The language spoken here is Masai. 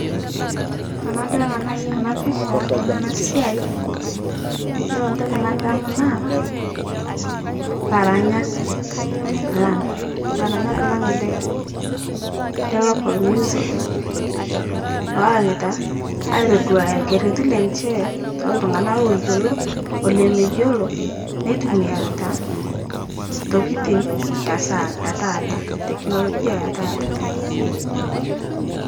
Tanadol ana si ana pisha tana ana siai, yiolo ntoki nadamu naa, laranyak lang', laranyak lang' le le local music ,looranyita aitodowaya lkereti lenche to ltung'ana looyuolo ole meyuolo, netumiarita ntokitin esa etaata teknolojia etaata